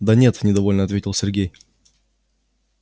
да нет недовольно ответил сергей